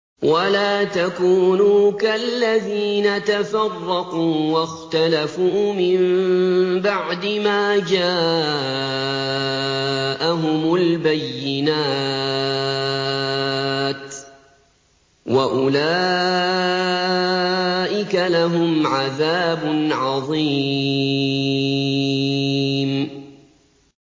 وَلَا تَكُونُوا كَالَّذِينَ تَفَرَّقُوا وَاخْتَلَفُوا مِن بَعْدِ مَا جَاءَهُمُ الْبَيِّنَاتُ ۚ وَأُولَٰئِكَ لَهُمْ عَذَابٌ عَظِيمٌ